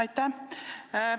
Aitäh!